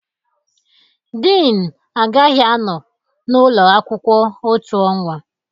Dean agaghị anọ n'ụlọ akwụkwọ otu ọnwa.